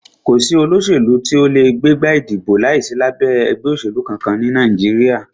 Kò sí olóṣèlú tí o lè gbégbá ìdìbò láìsí lábẹ́ ẹgbẹ́ òṣèlú kankan ní Nàìjíríà.